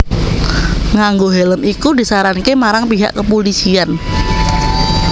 Nganggo hèlm iku disaranke marang pihak kepulisian